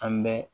An bɛ